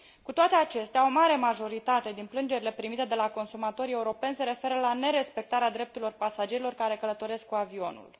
Cu toate acestea, o mare majoritate din plângerile primite de la consumatorii europeni se referă la nerespectarea drepturilor pasagerilor care călătoresc cu avionul.